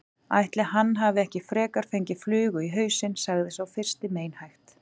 Ætli hann hafi ekki frekar fengið flugu í hausinn sagði sá fyrsti meinhægt.